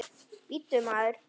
Bíddu, maður.